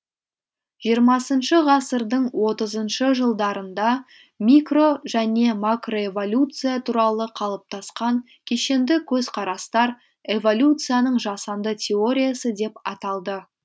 жиырмасыншы ғасырдың отызыншы жылдарында микро және макроэволюция туралы қалыптасқан кешенді көзқарастар эволюцияның жасанды теориясы деп аталды